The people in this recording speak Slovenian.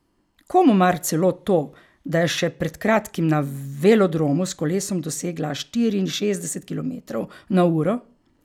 Komu mar celo to, da je še pred kratkim na velodromu s kolesom dosegla štiriinšestdeset kilometrov na uro?